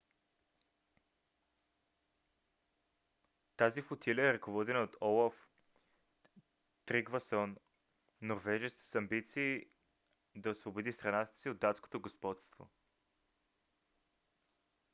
тази флотилия е ръководена от олаф тригвасон норвежец с амбиции да освободи страната си от датското господство